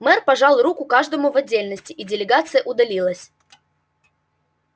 мэр пожал руку каждому в отдельности и делегация удалилась